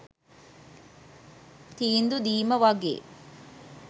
තීන්දු දීම වගේ.